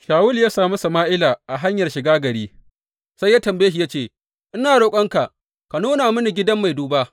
Shawulu ya sami Sama’ila a hanyar shiga gari, sai ya tambaye shi ya ce, Ina roƙonka ka nuna mini gidan mai duba?